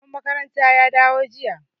Shugaban makaranta ya dawo jiya.